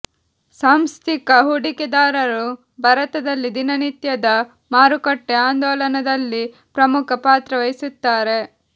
ಸಾಂಸ್ಥಿಕ ಹೂಡಿಕೆದಾರರು ಭಾರತದಲ್ಲಿ ದಿನನಿತ್ಯದ ಮಾರುಕಟ್ಟೆ ಆಂದೋಲನದಲ್ಲಿ ಪ್ರಮುಖ ಪಾತ್ರ ವಹಿಸುತ್ತಾರೆ